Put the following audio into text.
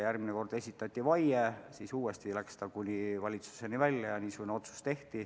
Järgmine kord esitati vaie, siis läks see asi uuesti kuni valitsuseni välja ja tehti niisugune otsus.